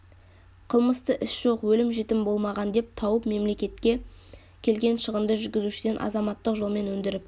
қылмысты іс жоқ өлім жітім болмаған деп тауып мемлекетке келген шығынды жүргізушіден азаматтық жолмен өндіріп